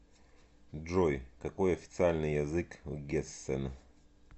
джой какой официальный язык в гессен